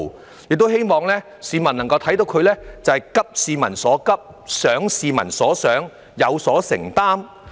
市民亦希望能夠看到政府急市民所急，想市民所想，有所承擔。